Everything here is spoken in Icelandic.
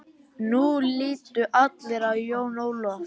Nú litu allir á Jón Ólaf.